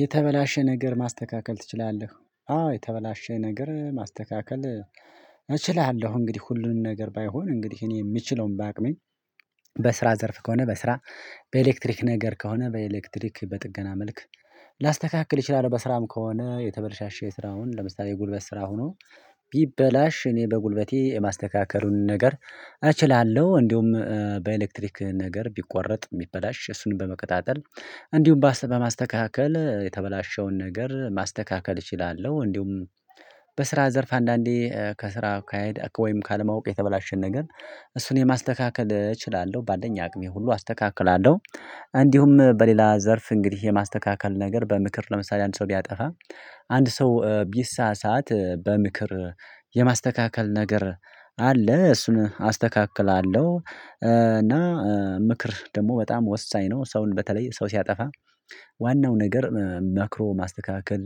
የተበላሸ ነገር ማስተካከል ትችላለህ? አዎ የተበላሸ ነገር ማስተካከል እችላለሁ እንግዲህ ሁሉንም ነገር ባይሆን እንግዲህ እኔ የምችለውን ባቅመኝ። በስራ ዘርፍ ከሆነ በስራ በኤሌክትሪክ ነገር ከሆነ በኤሌክትሪክ በጥገና መልክ። ላስተካክል ይችላል በስራም ከሆነ የተበላሸ የስራውን ለምሳሌ ጉልበት ስራ ሆኖ ቢበላሽ እኔ በጉልበቴ የማስተካከሉን ነገር እችላለሁ እንዲሁም በኤሌክትሪክ ነገር ቢቆረጥ የሚበላሽ እሱንም በመከታተል እንዲሁም በማስተካከል የተበላሸውን ነገር ማስተካከል እችላለሁ። እንዲሁም በስራ ዘርፍ አንዳንዴ ከስራ ካሄድ ወይም ካለማወቅ የተበላሸን ነገር እሱን የማስተካከል እችላለሁ በአለኝ አቅሜ ሁሉ አስተካክላለሁ። እንዲሁም በሌላ ዘርፍ እንግዲህ የማስተካከል ነገር በምክር ለምሳሌ አንድ ሰው ቢያጠፋ አንድ ሰው ቢሳሳት በምክር የማስተካከል ነገር አለ። እሱን አስተካክላለሁ። ምክር ደግሞ በጣም ወሳኝ ነው። ሰውን በተለይ ሰው ሲያጠፋ ዋናው ነገር መክሮ ማስተካከል